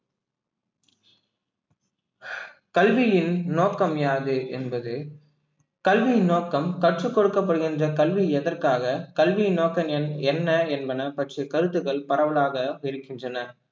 கல்வியின் நோக்கம் யாது என்பது கல்வியின் நோக்கம் கற்றுக் கொடுக்கப்படுகின்ற கல்வி எதற்காக கல்வியின் நோக்கம் என்ன என்பன பற்றி கருத்துக்கள் பரவலாக இருக்கின்றன